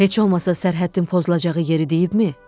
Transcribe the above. Heç olmasa sərhəddin pozulacağı yeri deyibmi?